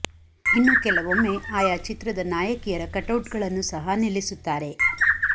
ಇನ್ನು ಕೆಲವೊಮ್ಮೆ ಆಯಾ ಚಿತ್ರದ ನಾಯಕಿಯರ ಕಟೌಟ್ ಗಳನ್ನು ಸಹ ನಿಲ್ಲಿಸುತ್ತಾರೆ